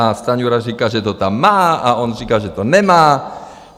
A Stanjura říká, že to tam má, a on říká, že to nemá.